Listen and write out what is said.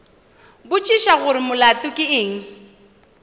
botšiša gore molato ke eng